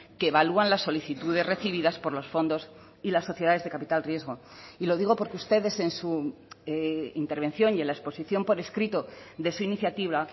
que evalúan la solicitudes recibidas por los fondos y las sociedades de capital riesgo y lo digo porque ustedes en su intervención y en la exposición por escrito de su iniciativa